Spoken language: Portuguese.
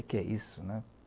O que é isso, né?